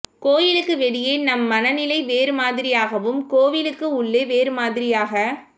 கோயிலுக்கு வெளியே நம் மனநிலை வேறு மாதிரியாகவும் கோவிலுக்கு உள்ளே வேறு மாதிரியாக